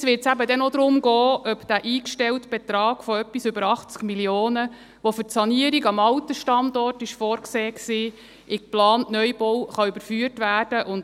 Jetzt wird es eben noch darum gehen, ob dieser eingestellte Betrag von etwas über 80 Mio. Franken, der für die Sanierung am alten Standort vorgesehen war, in den geplanten Neubau überführt werden kann.